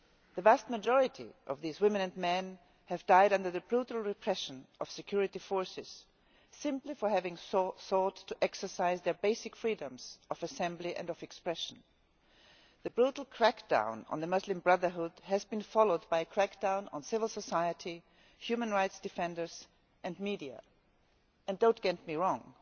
The vast majority of these men and women have died under the brutal repression of the security forces simply for having sought to exercise their basic freedoms of assembly and expression. The brutal crackdown on the Muslim Brotherhood has been followed by a crackdown on civil society, human rights defenders and media. Do not get me wrong